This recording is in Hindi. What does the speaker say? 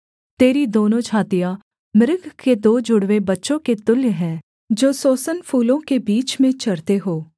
तेरी दोनों छातियाँ मृग के दो जुड़वे बच्चों के तुल्य हैं जो सोसन फूलों के बीच में चरते हों